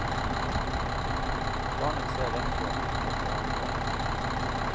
Barnet ser rett på, enkelt og avslørende.